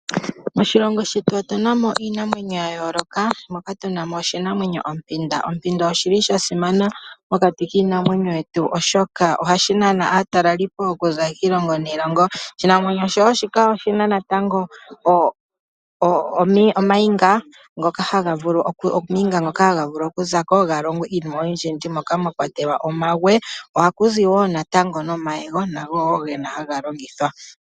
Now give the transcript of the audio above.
Moshilongo shetu otu na mo iinamwenyo ya yooloka moka tu na mo oshinamwenyo ompanda. Ompanda oya simana, oshoka ohayi nana aatalelipo okuza kiilongo niilongo. Oshinamwenyo shika wo oshi na wo ooniga ndhoka hadhi vulu okuza ko dhi longwe iinima oyindji moka mwa kwatelwa omawe. Ohaku zi wo omayego nago wo haga longithwa.